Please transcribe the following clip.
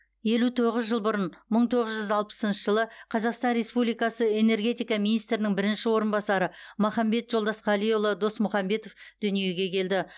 елу тоғыз жыл бұрын мың тоғыз жүз алпысыншы жылы қазақстан республикасы энергетика министрінің бірінші орынбасары махамбет жолдасқалиұлы досмұхамбетов дүниеге келді